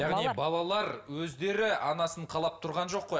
балалар өздері анасын қалап тұрған жоқ қой